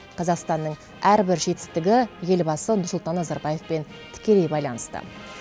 қазақстанның әрбір жетістігі елбасы нұрсұлтан назарбаевпен тікелей байланысты